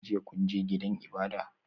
Jiya kun je gidan ibada?